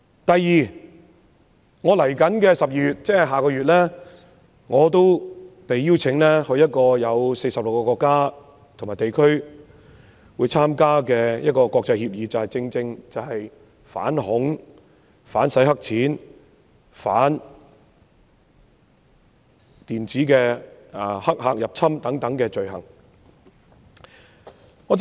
第二，我將在12月應邀參加一個有46個國家和地區出席的國際會議，會議正是關於反恐、反洗黑錢、反電子黑客入侵等罪行的協議。